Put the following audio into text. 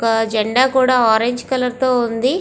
ఒక జెండా కూడా ఆరంజ్ కలర్ తో ఉంది.